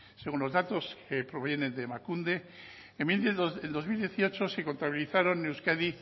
según los datos que provienen de emakunde en dos mil dieciocho se contabilizaron en euskadi